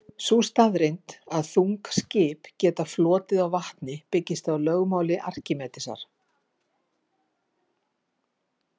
Sú staðreynd að þung skip geta flotið á vatni byggist á lögmáli Arkímedesar.